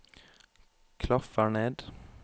klaffer ned